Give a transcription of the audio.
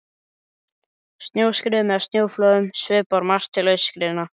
Snjóskriðum eða snjóflóðum svipar um margt til aurskriðna.